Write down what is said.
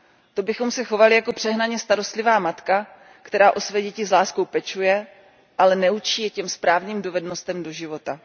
To bychom se chovali jako přehnaně starostlivá matka, která o své děti s láskou pečuje, ale neučí je těm správným dovednostem do života.